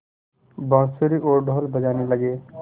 बाँसुरी और ढ़ोल बजने लगे